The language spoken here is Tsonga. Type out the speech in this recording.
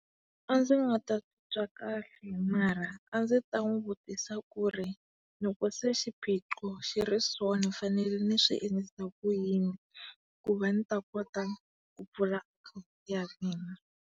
A ndzi nga titwa kahle mara a ndzi ta n'wi vutisa ku ri loko se xiphiqo xi ri so ni fanele ni swi endlisa ku yinis ku va ni ta kota ku pfula akhawuntu ya mina.